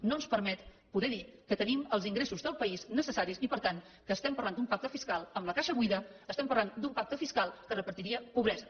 no ens permet poder dir que tenim els ingressos del país necessaris i per tant estem parlant d’un pacte fiscal amb la caixa buida estem parlant d’un pacte fiscal que repartiria pobresa